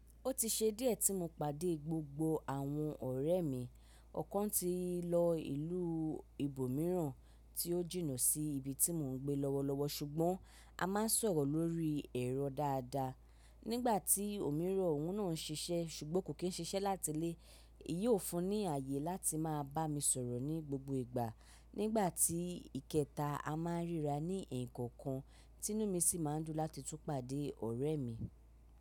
Ó ti ṣe díẹ̀ tí mo pàdé gbogbo àwọn ọ̀rẹ́ mi, ọ̀kan ti lọ ìlú ibòmíràn tí ó jìnnà sí ibi tí mò ń gbé lọ́wọ́lọ́wọ́ ṣùgbọ́n a máa ń sọ̀rọ̀ lórí ẹ̀rọ dáadáa. Nígbà tí òmíràn òun náà ń ṣiṣẹ́ ṣùgbọ́n kò kí ń ṣiṣẹ́ láti ilé, èyí ó fún ní àyè láti máa bá mi sọ̀rọ̀ ní gbogbo ìgbà. Nígbà tí ìkẹta a máa ń ríra ní ẹ̀ kọ̀ọ̀kan, ti inú mi sì máa ń dùn láti tún pàdé ọ̀rẹ́ mi.